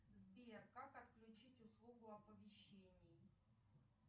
сбер как отключить услугу оповещений